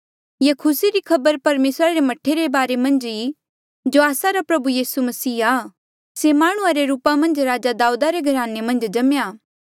ये खुसी री खबर परमेसरा रे मह्ठा रे बारे मन्झ आ जो आस्सा रा प्रभु यीसू मसीह आ से माह्णुं रे रूपा मन्झ राजा दाऊदा रे घराने मन्झ जम्मेया